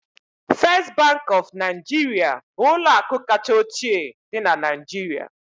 First Bank of Nigeria bụ ụlọ akụ kacha ochie dị na Nigeria